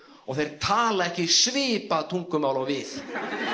og þeir tala ekki svipað tungumál og við